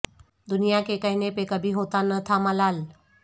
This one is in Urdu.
دنیا کے کہنے پے کبھی ہوتا نہ تھا ملال